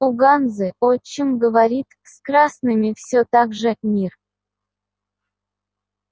у ганзы отчим говорит с красными все так же мир